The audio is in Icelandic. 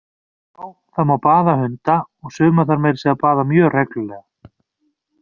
Já, það má baða hunda, og suma þarf meira að segja að baða mjög reglulega!